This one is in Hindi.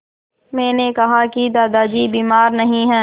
मैंने कहा कि दादाजी बीमार नहीं हैं